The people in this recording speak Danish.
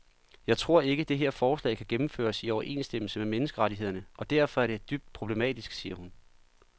Jeg tror ikke, det her forslag kan gennemføres i overensstemmelse med menneskerettighederne og derfor er det dybt problematisk, siger hun.